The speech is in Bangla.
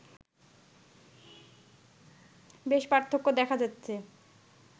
বেশ পার্থক্য দেখা যাচ্ছে